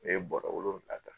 Ne ye bɔrɔ wolonwula ta.